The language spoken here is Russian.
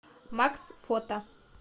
макс фото